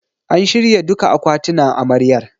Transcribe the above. A shirya duka akwatinan Amaryar.